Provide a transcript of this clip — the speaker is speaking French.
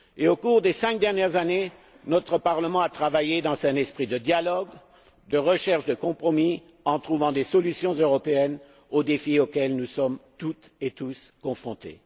Au cours des cinq dernières années, notre parlement a travaillé dans un esprit de dialogue, de recherche de compromis, en trouvant des solutions européennes aux défis auxquels nous sommes toutes et tous confrontés.